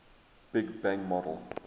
big bang model